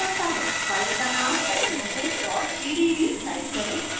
file का name adenosine pdb type करें